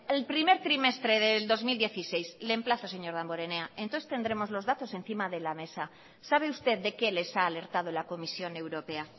el primer trimestre del dos mil dieciséis le emplazo señor damborenea entonces tendremos los datos encima de la mesa sabe usted de qué les ha alertado la comisión europea